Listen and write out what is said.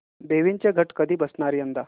देवींचे घट कधी बसणार यंदा